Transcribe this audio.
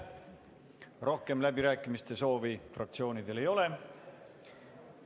Rohkem läbirääkimiste soovi fraktsioonidel ei ole.